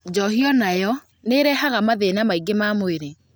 Njohi o nayo nĩ ĩrehaga mathĩna maingĩ ma mwĩrĩ